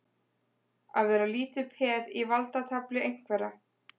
Að vera lítið peð í valdatafli einhverra